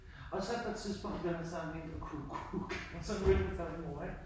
Og så på et tidspunkt bliver han så mindre kukkuk og så mødte han så min mor ik